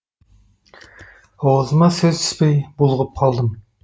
аузыма сөз түспей булығып қалдым